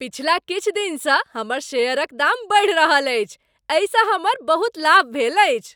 पछिला किछु दिनसँ हमर शेयरक दाम बढ़ि रहल अछि, एहिसँ हमर बहुत लाभ भेल अछि।